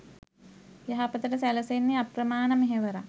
යහපතට සැලසෙන්නේ අප්‍රමාණ මෙහෙවරක්.